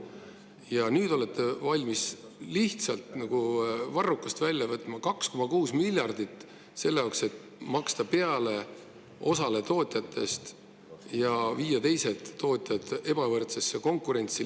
Ja nüüd olete valmis lihtsalt nagu varrukast välja võtma 2,6 miljardit selle jaoks, et osale tootjatest peale maksta ja viia teised tootjad ebavõrdsesse konkurentsi.